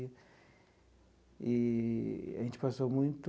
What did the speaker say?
Eee a gente passou muito...